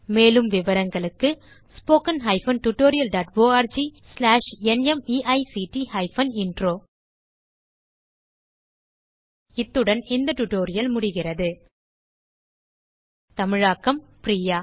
மேலும் விவரங்களுக்கு spoken hyphen tutorial dot org slash NMEICT hyphen intro தமிழாக்கம் பிரியா